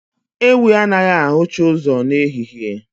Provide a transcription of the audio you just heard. Ewii anaghị ahụcha ụzọ n'ehihie